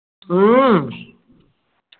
ഉം